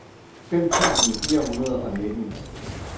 fem tusind fire hundrede og nitten